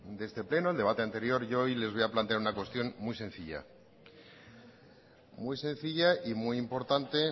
de este pleno el debate anterior yo hoy les voy a plantear una cuestión muy sencilla muy sencilla y muy importante